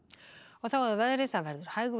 þá að veðri það verður hægviðri